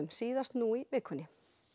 síðast nú í vikunni